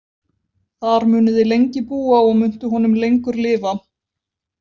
Þar munuð þið lengi búa og muntu honum lengur lifa.